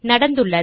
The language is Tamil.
நடந்துள்ளது